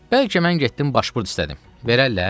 Bəlkə mən getdim başpurt istədim, verərlər?